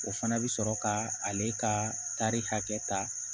O fana bɛ sɔrɔ ka ale ka tari hakɛ ta